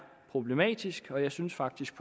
problematisk og jeg synes faktisk